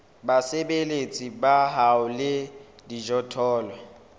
basebeletsi ba hao le dijothollo